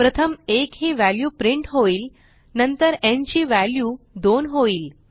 प्रथम1 ही value print होईल नंतर न् ची व्हॅल्यू 2 होईल